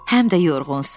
Həm də yorğunsan.